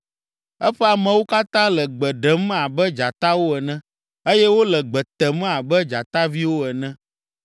Eƒe amewo katã le gbe ɖem abe dzatawo ene eye wole gbe tem abe dzataviwo ene.